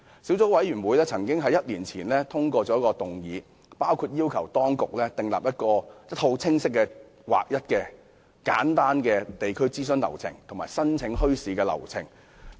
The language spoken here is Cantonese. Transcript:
小組委員會1年前曾通過議案，要求當局訂立清晰、劃一和簡單的地區諮詢及申請流程。